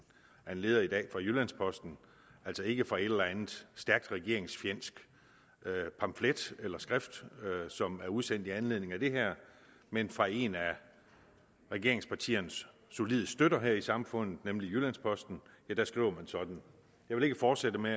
af en leder i dag i jyllands posten altså ikke fra en eller anden stærkt regeringsfjendsk pamflet eller et skrift som er udsendt i anledning af det her men fra en af regeringspartiernes solide støtter her i samfundet nemlig jyllands posten her skriver man sådan jeg vil ikke fortsætte med